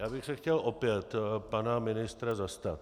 Já bych se chtěl opět pana ministra zastat.